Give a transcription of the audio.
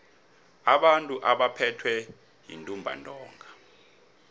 abantu abaphethwe yintumbantonga